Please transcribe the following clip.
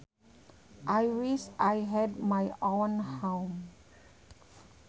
I wish I had my own home